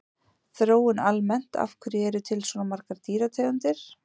Þróun almennt Af hverju eru til svona margar dýrategundir?